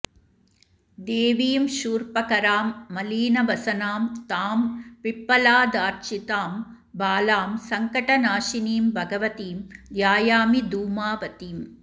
देवीं शूर्पकरां मलीनवसनां तां पिप्पलादार्चितां बालां सङ्कटनाशिनीं भगवतीं ध्यायामि धूमावतीम्